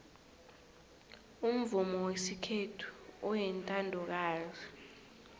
umvumo wesikhethu uyintandokazi